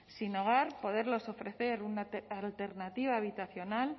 sin hogar poderles ofrecer una alternativa habitacional